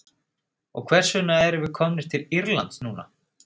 Og hvers vegna erum við komnir til Írlands núna?